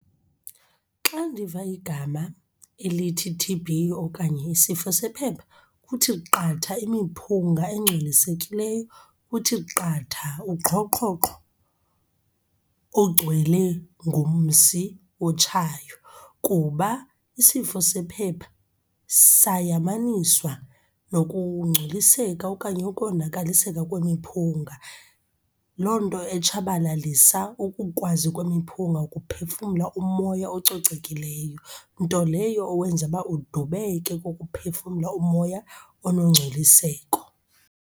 Xa ndiva igama elithi T_B okanye isifo sephepha, kuthi qatha imiphunga engcolisekileyo. Kuthi qatha uqhoqhoqho ogcwele ngumsi otshayo kuba isifo sephepha sayamaniswa nokungcoliseka okanye ukonakaliseka kwemiphunga, loo nto etshabalalisa ukukwazi kwemiphunga ukuphefumla umoya ococekileyo. Nto leyo owenza uba udubeke ukuphefumla umoya onongcoliseko.